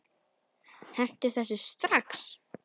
Hentu þessu strax!